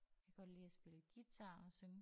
Kan godt lide at spille guitar og synge